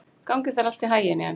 Gangi þér allt í haginn, Jes.